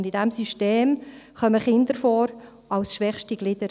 In diesem System kommen Kinder vor, als schwächste Glieder.